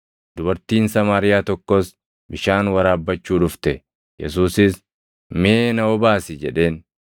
Dubartiin Samaariyaa tokkos bishaan waraabbachuu dhufte; Yesuusis, “Mee na obaasi” jedheen.